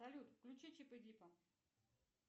салют включи чип и дипа